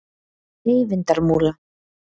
Eyvindarmúla